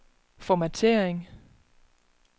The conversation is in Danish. formattering